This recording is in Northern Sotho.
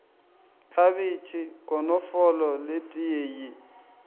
khabetšhe konofolo le teye ye